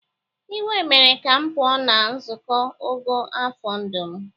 Iwe mere ka m pụọ na nzuko ogo afọ ndụ m.